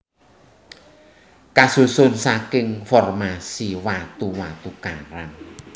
Kasusun saking formasi watu watu karang